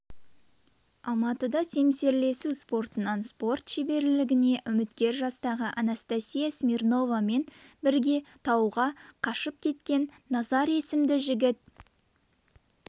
алматыда семсерлесу спортынан спорт шеберлігіне үміткер жастағы анастасия смирновамен бірге тауға қашып кеткен назар есімді жігіт